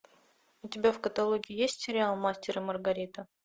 у тебя в каталоге есть сериал мастер и маргарита